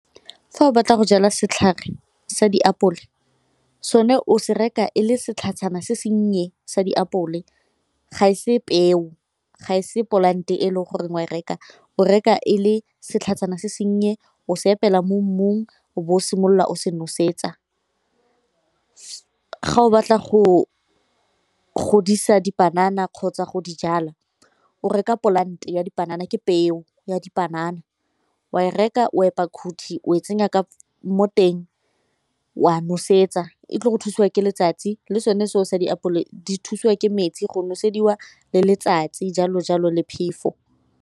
Fa o batla go jala setlhare sa diapole sone o se reka e le setlhatshana se sennye sa diapole ga e se peo, ga e se polante e le goreng wa e reka o reka e le setlhajana se senye o se epela mo mmung o bo o simolola o se nosetsa. Ga o batla go godisa dipanana kgotsa go di jala, o reka polante ya dipanana ke peo ya dipanana wa e reka o epile khuthi o e tsenya mo teng wa nosetsa e tlile go thusiwa ke letsatsi le sone seo sa diapole di thusiwa ke metsi go nosediwa le letsatsi jalo jalo le phefo.